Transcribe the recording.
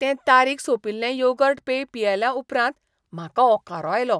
तें तारीख सोंपिल्लें योगर्ट पेय पियेल्या उपरांत म्हाका ओंकारो आयलो.